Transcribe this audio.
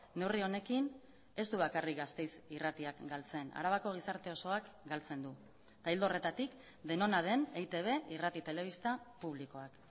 neurri honekin ez du bakarrik gasteiz irratiak galtzen arabako gizarte osoak galtzen du ildo horretatik denona den eitb irrati telebista publikoak